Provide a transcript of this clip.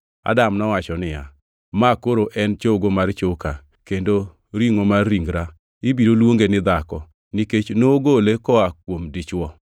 Adam nowacho niya, “Ma koro en chogo mar choka kendo ringʼo mar ringra; ibiro luonge ni ‘dhako,’ nikech nogole koa kuom dichwo.”